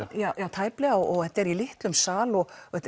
tæplega og þetta er í litlum sal og